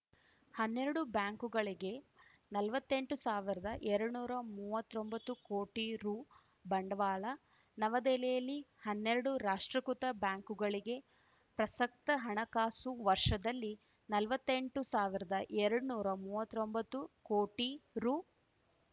ಹನ್ನೆರಡು ಬ್ಯಾಂಕುಗಳಿಗೆ ನಲ್ವತ್ತೆಂಟು ಸಾವಿರ್ದಾ ಎರಡ್ ನೂರಾ ಮೂವತ್ತೊಂಬತ್ತು ಕೋಟಿ ರು ಬಂಡವಾಳ ನವದೆಹಲಿಯಲ್ಲಿ ಹನ್ನೆರಡು ರಾಷ್ಟ್ರೀಕೃತ ಬ್ಯಾಂಕುಗಳಿಗೆ ಪ್ರಸಕ್ತ ಹಣಕಾಸು ವರ್ಷದಲ್ಲಿ ನಲ್ವತ್ತೆಂಟು ಸಾವಿರ್ದಾ ಎರಡ್ ನೂರಾ ಮೂವತ್ತೊಂಬತ್ತು ಕೋಟಿ ರು